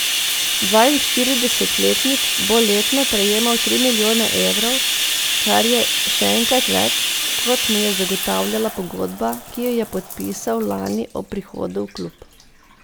Dvainštiridesetletnik bo letno prejemal tri milijone evrov, kar je še enkrat več, kot mu je zagotavljala pogodba, ki jo je podpisal lani ob prihodu v klub.